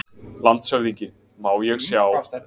LANDSHÖFÐINGI: Má ég sjá?